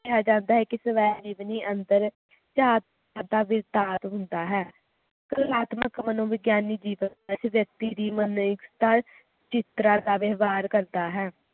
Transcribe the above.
ਕਿਹਾ ਜਾਂਦਾ ਹੈ ਕਿ ਸਵੈ ਜੀਵਨੀ ਅੰਦਰ ਦਾ ਵਿਸਤਾਰ ਹੁੰਦਾ ਹੈ ਕਲਾਤਮਕ ਮਨੋਵਿਜ੍ਞਾਨਿਕ ਜੀਆਵਾਂ ਅਤੇ ਵਿਅਕਤੀ ਦੀ ਜਿਸ ਤਰ੍ਹਾਂ ਦਾ ਵ੍ਯਾਵਹਿਰ ਕਰਦਾ ਹੈ